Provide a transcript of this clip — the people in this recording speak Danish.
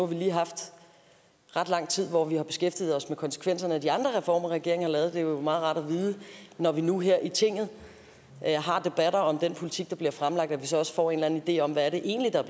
vi lige haft ret lang tid hvor vi har beskæftiget os med konsekvenserne af de andre reformer regeringen har lavet det er jo meget rart når vi nu her i tinget har debatter om den politik der bliver fremlagt at vi så også får en eller anden idé om hvad det egentlig er